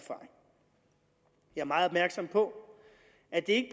er meget opmærksom på at det